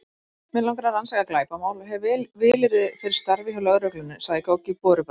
Mig langar að rannsaka glæpamál og hef vilyrði fyrir starfi hjá lögreglunni, sagði Goggi borubrattur.